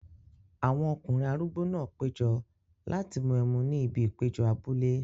Àwọn ọkùnrin arúgbó náà péjọ láti mú ẹmu ní ibi ìpéjọ abúlé.